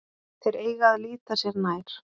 Þeir eiga að líta sér nær.